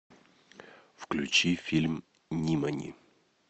включи фильм нимани